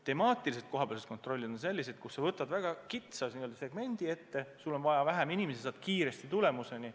Temaatilised kohapealsed kontrollid on sellised, kus sa võtad väga kitsa segmendi ette, sul on vaja vähem inimesi ja jõuad kiiresti tulemuseni.